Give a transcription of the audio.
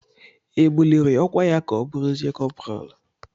E buliri ọkwa ya ka ọ bụrụzie kọpral?